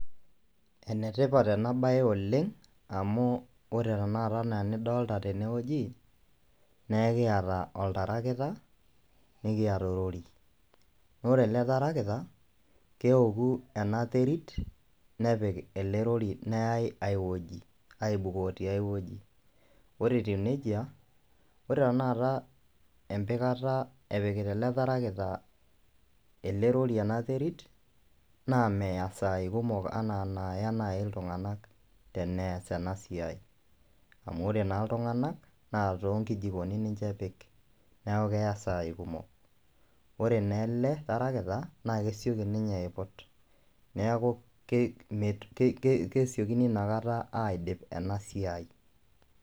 Enetipat ena bae oleng amu ore tenakata anaa enidolta tene wueji , naa ekiata oltarakita , nikiata orori. Naa ore ele tarakita , keoku ena terit ,nepik ena rori , neyay ewueji aibukoo tiay wueji. Ore etiu nejia , ore tenakata , empikata epikita ele tarakita ele rori ena terit naa meya isaai kumok anaa inaaya nai iltunganak teneas ena siai. Amu ore naa iltunganak naa too nkijikoni ninche epik niaku keya isaai kumok. Ore naa ele tarakita ele tarakita naa kesioki ninye aiput niaku kesiokini inakata aidip ena siai.